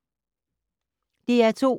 DR2